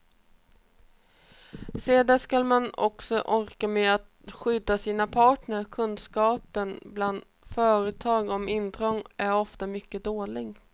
Sedan skall man också orka med att skydda sina patent, kunskapen bland företag om intrång är ofta mycket dålig.